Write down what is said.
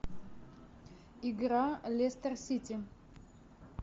игра лестер сити